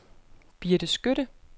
Birte Skytte